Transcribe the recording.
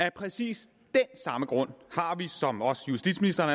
af præcis den samme grund som justitsministeren